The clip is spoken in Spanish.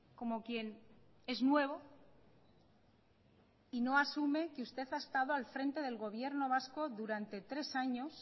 como quien es nuevo y no asume que usted ha estado al frente del gobierno vasco durante tres años